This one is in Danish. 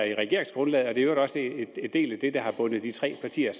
i regeringsgrundlaget i øvrigt også en del af det der har bundet de tre partier